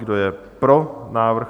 Kdo je pro návrh?